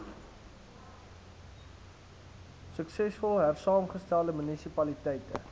suksesvol hersaamgestelde munisipaliteite